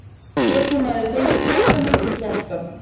Getur maður fengið krabbamein í hjartað?